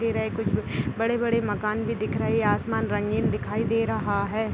दे रहे है कुछ बड़े बड़े मकान भी दिख रहे है आसमान रंगीन दिखाई दे रहा है ।